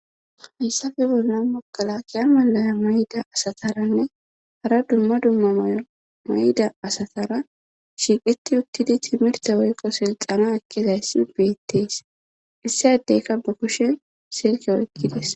hayssafe bolla mogalakiya malaya mayda asataranne hara dumma dumma mayda asatara shiiqeti uttidi timirte woykko silxana akkizayssi beettees issi addeykka ba kushen silke oykkidis